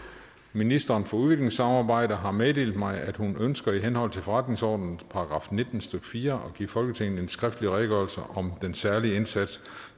ministeren for udviklingssamarbejde har meddelt mig at hun ønsker i henhold til forretningsordenens § nitten stykke fire at give folketinget en skriftlig redegørelse om den særlige indsats